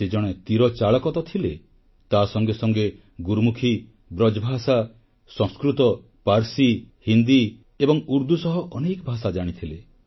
ସେ ଜଣେ ତୀରଚାଳକ ତ ଥିଲେ ତାସଙ୍ଗେ ସଙ୍ଗେ ଗୁରୁମୁଖି ବ୍ରଜଭାଷା ସଂସ୍କୃତ ପାର୍ସି ହିନ୍ଦୀ ଏବଂ ଉର୍ଦ୍ଦୁ ସହ ଅନେକ ଭାଷା ଜାଣିଥିଲେ